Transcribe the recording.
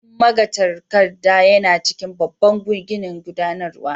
Ofishin magatakarda yana cikin babban ginin gudanarwa.